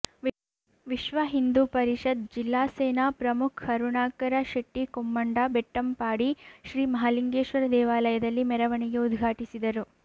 ವಿಶ್ವ ಹಿಂದೂ ಪರಿಷತ್ ಜಿಲ್ಲಾ ಸೇನಾ ಪ್ರಮುಖ್ ಕರುಣಾಕರ ಶೆಟ್ಟಿ ಕೊಮ್ಮಂಡ ಬೆಟ್ಟಂಪಾಡಿ ಶ್ರೀ ಮಹಾಲಿಂಗೇಶ್ವರ ದೇವಾಲಯದಲ್ಲಿ ಮೆರವಣಿಗೆ ಉದ್ಘಾಟಿಸಿದರು